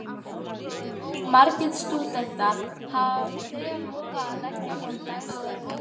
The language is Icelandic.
Margir stúdentar hafa þegar lofað að leggja fram dagsverk.